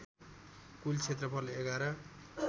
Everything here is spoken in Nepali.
कुल क्षेत्रफल ११